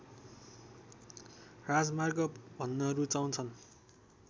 राजमार्ग भन्न रूचाउँछन्